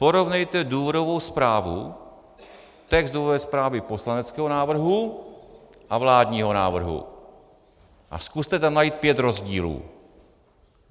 Porovnejte důvodovou zprávu, text důvodové zprávy poslaneckého návrhu a vládního návrhu a zkuste tam najít pět rozdílů.